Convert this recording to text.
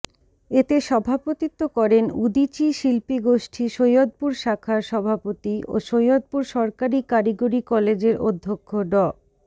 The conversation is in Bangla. এতে সভাপত্বি করেন উদীচী শিল্পীগোষ্ঠী সৈয়দপুর শাখার সভাপতি ও সৈয়দপুর সরকারি কারিগরী কলেজের অধ্যক্ষ ড